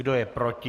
Kdo je proti?